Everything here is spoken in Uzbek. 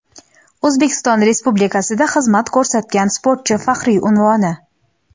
"O‘zbekiston Respublikasida xizmat ko‘rsatgan sportchi" faxriy unvoni.